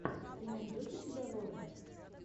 ты найдешь у себя лорда